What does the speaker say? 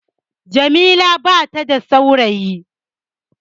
Jamila bata da saurayi